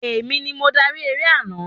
Èmi ni mo darí eré àná